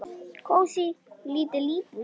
Kósí, lítil íbúð.